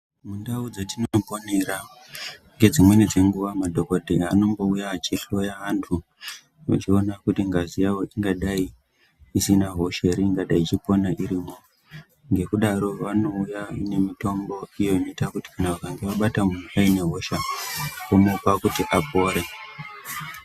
Mundau dzetinoponera ngedzimweni dzenguwa madhokodheya anombouya achihloya antu, echiona kuti ngazi yawo ingadai isina hosha ere ingadai yechipona irimwo. Ngekudaro vanouya nemitombo iyo inoita kuti kana vakange vabata munhu ainehosha, omupa kuti apore.